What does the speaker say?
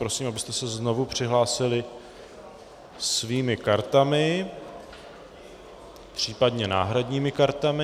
Prosím, abyste se znovu přihlásili svými kartami, případně náhradními kartami.